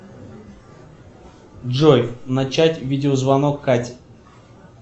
джой начать видеозвонок кате